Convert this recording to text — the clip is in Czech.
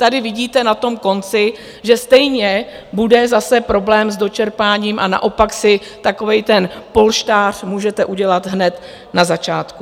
Tady vidíte na tom konci, že stejně bude zase problém s dočerpáním, a naopak si takový ten polštář můžete udělat hned na začátku.